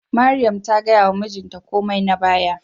Mariam ta gaya wa mijinta komai na baya